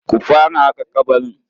Ku fara haƙa ƙabarin.